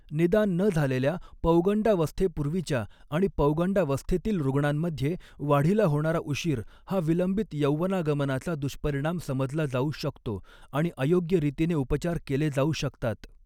निदान न झालेल्या पौगंडावस्थेपूर्वीच्या आणि पौगंडावस्थेतील रुग्णांमध्ये, वाढीला होणारा उशीर हा विलंबित यौवनागमनाचा दुष्परिणाम समजला जाऊ शकतो आणि अयोग्य रीतीने उपचार केले जाऊ शकतात .